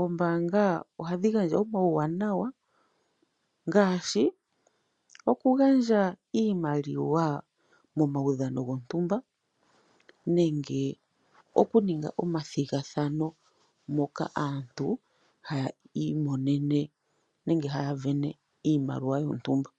Ombaanga ohadhi gandja omawuwanawa ngaashi oku gandja iimaliwa momawudhano gontumba nenge okuninga omathigathano moka aantu haya iimonene nenge haya vene iimaliwa yontumba.